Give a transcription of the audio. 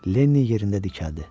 Lenni yerində dikəldi.